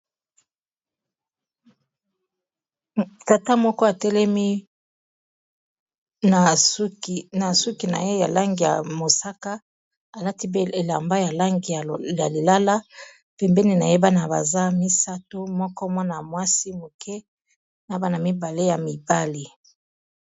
Tata moko atelemi na suki na ye ya langi ya mosaka, alati pelamba ya langi ya lilala pembeni nayebana baza misato moko mwana mwasi moke na bana mibale ya mibale.